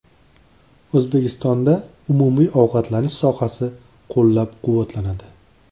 O‘zbekistonda umumiy ovqatlanish sohasi qo‘llab-quvvatlanadi.